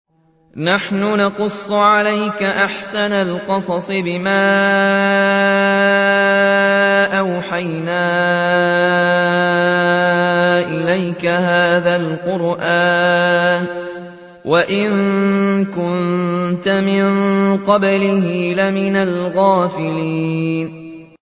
نَحْنُ نَقُصُّ عَلَيْكَ أَحْسَنَ الْقَصَصِ بِمَا أَوْحَيْنَا إِلَيْكَ هَٰذَا الْقُرْآنَ وَإِن كُنتَ مِن قَبْلِهِ لَمِنَ الْغَافِلِينَ